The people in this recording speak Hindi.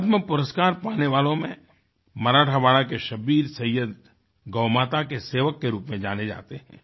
पद्म पुरस्कार पाने वालों में मराठवाड़ा के शब्बीर सैय्यद गौमाता के सेवक के रूप में जाने जाते हैं